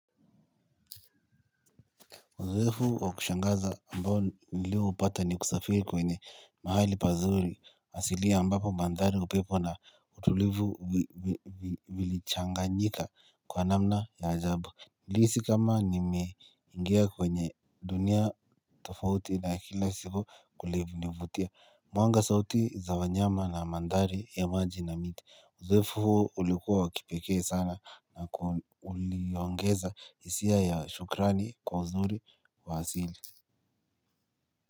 Uzoefu wa kushangaza ambao nilio upata ni kusafiri kwenye mahali pazuri asili ambapo mandhari upepo na utulivu vilichanganyika kwa namna ya ajabu. Nilihisi kama nimeingia kwenye dunia tofauti na kila siku kulinivutia. Mwanga sauti za wanyama na mandhari ya maji na miti. Uzoefu huo ulikuwa wa kipekee sana na uliongeza hisia ya shukrani kwa uzuri wa asili.